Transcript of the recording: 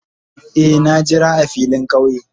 Eh, na jira a filin kauye.